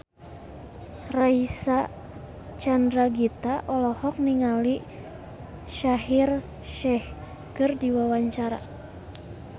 Reysa Chandragitta olohok ningali Shaheer Sheikh keur diwawancara